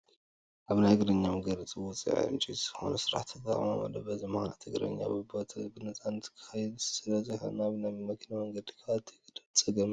ኣብ ናይ እግረኛ መንገዲ ውፅኢት ዕንጨይቲ ዝኾኑ ስራሕቲ ተቐሚጦም ኣለዉ፡፡ በዚ ምኽንያት እግረኛ ብቦትኡ ብነፃነት ክኸይድ ስለዘይኽእል ናብ ናይ መኪና መንገዲ ክኣቱ ይግደድ፡፡ ፀገም እዩ፡፡